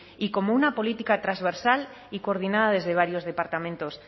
y como una política transversal y coordinada desde varios departamentos